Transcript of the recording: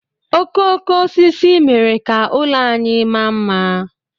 Okooko osisi mere ka ụlọ anyị maa mma.